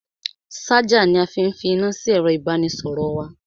Ṣájà ni a fi fi iná sí ẹ̀ro ìbánisọ̀rọ̀ wa.